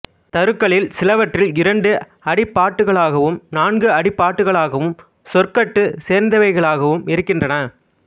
தருக்களில் சிலவற்றில் இரண்டு அடிப் பாட்டுக்களாகவும் நான்கு அடிப் பாட்டுக்களாகவும் சொற்கட்டு சேர்ந்தவைகளாகவும் இருக்கின்றன